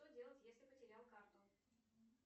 что делать если потерял карту